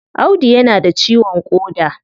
Audu ya na da ciwon koda